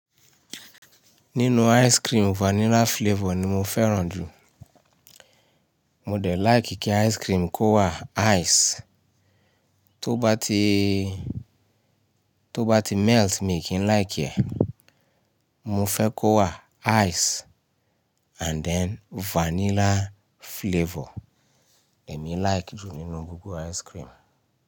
Nínú ice cream vanilla flavor ni mo fẹ́ràn jù. Mo dẹ̀ like kí ice cream kó wà ice, tó bá ti, tó bá ti melt mi kì í like ẹ́. Mo fẹ́ kó wà ice and then vanilla flavor èmi like jù nínú gbogbo ice cream.